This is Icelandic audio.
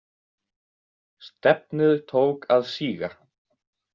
Stefnið tók að síga.